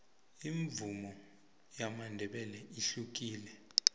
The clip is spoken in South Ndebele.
imvumo yamandebele ihlukile